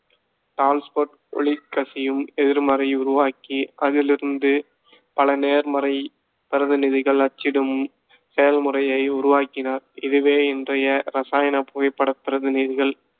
டால்ஸ்போட், ஒளிகசியும் எதிர்மறை உருவாக்கி அதிலிருந்து பல நேர்மறை பிரதிநிதிகள் அச்சிடும் செயல்முறையை உருவாக்கினார். இதுவே இன்றைய இரசாயன புகைப்படப் பிரதிநிதிகள்